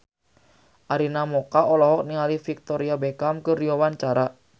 Arina Mocca olohok ningali Victoria Beckham keur diwawancara